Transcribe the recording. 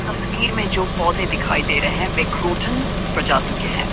तस्वीर में जो पौधे दिखाई दे रहे हैं विकरूटन प्रजाति के है।